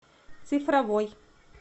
цифровой